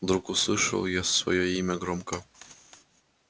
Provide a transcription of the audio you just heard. вдруг услышал я своё имя громко